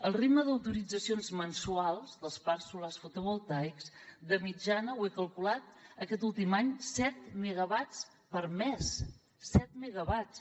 el ritme d’autoritzacions mensuals dels parcs solars fotovoltaics de mitjana ho he calculat aquest últim any set megawatts per mes set megawatts